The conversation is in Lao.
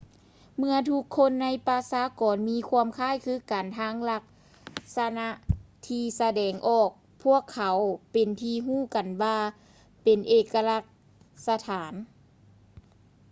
ເມຶ່ອທຸກຄົນໃນປະຊາກອນມີຄວາມຄ້າຍຄືກັນທາງລັກສະນາທີ່ສະແດງອອກ ພວກເຂົາເປັນທີ່ຮູ້ກັນວ່າເປັນເອກະລັກສັນຖານ